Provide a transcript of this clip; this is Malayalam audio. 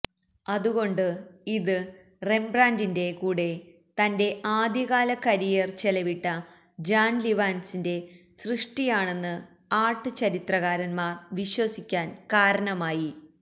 അതുകൊണ്ട് ഇത് റെംബ്രാന്റിന്റെ കൂടെ തന്റെ ആദ്യകാല കരിയർ ചെലവിട്ട ജാൻ ലിവാൻസിന്റെ സൃഷ്ടിയാണെന്ന് ആർട്ട് ചരിത്രകാരന്മാർ വിശ്വസിക്കാൻ കാരണമായി